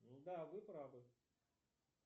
да вы правы